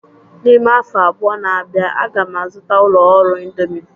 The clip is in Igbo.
N'ime afọ abụọ na-abịa, a ga m azụta ụlọ ọrụ indomi